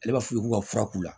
Ale b'a f'u ye k'u ka fura k'u la